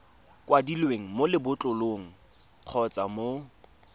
kwadilweng mo lebotlolong kgotsa mo